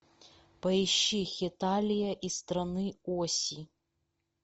поищи хеталия из страны оси